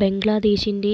ബംഗ്ലാദേശിന്റെ